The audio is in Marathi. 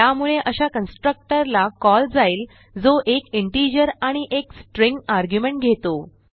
त्यामुळे अशा कन्स्ट्रक्टर ला कॉल जाईल जो 1 इंटिजर आणि 1 स्ट्रिंग आर्ग्युमेंट घेतो